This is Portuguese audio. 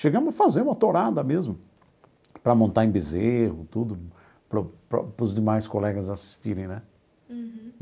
Chegamos a fazer uma tourada mesmo, para montar em bezerro tudo, para o para os demais colegas assistirem né.